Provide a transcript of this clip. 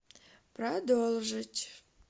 продолжить